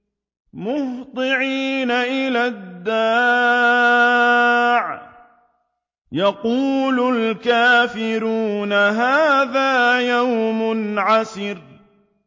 مُّهْطِعِينَ إِلَى الدَّاعِ ۖ يَقُولُ الْكَافِرُونَ هَٰذَا يَوْمٌ عَسِرٌ